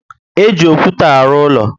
E ji okwute alụ úlọ